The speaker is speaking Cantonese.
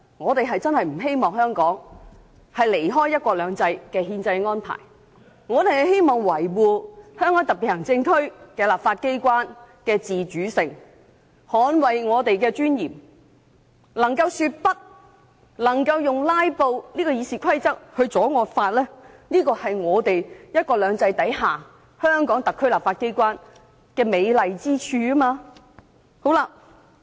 我們真的不希望香港偏離"一國兩制"的憲制安排，希望維護香港特別行政區立法機關的自主性，捍衞我們的尊嚴，能夠說不，能夠在《議事規則》容許下使用"拉布"手段阻止惡法的通過，這是"一國兩制"下香港特別行政區立法機關的美麗之處。